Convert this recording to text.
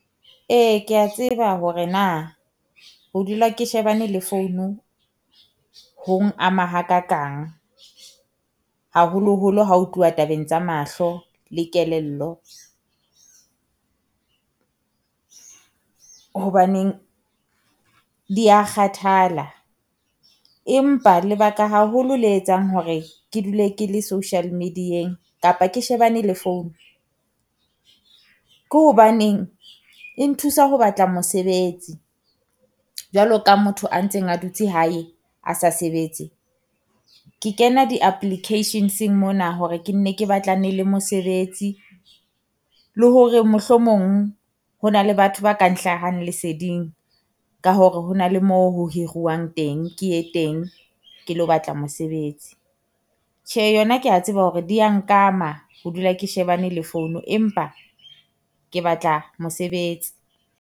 Ee kea tseba hore na ho dula ke shebane le founu ho ng ama hakakang, haholoholo ha o tluwa tabeng tsa mahlo le kelello. Hobaneng dia kgathala empa lebaka haholo le etsang hore ke dule ke le social media-eng kapa ke shebane le phone. Ke hobaneng e nthusa ho batla mosebetsi jwalo ka motho a ntseng a dutse hae a sa sebetse, ke kena di applications-eng mona hore ke nne ke batlane le mosebetsi. Le hore mohlomong ho na le batho ba ka nhlahang leseding ka hore ho na le moo ho hiriwang teng ke e teng ke lo batla mosebetsi. tjhe yona kea tseba hore di ya nkama, ho dula ke shebane le founu empa ke batla mosebetsi.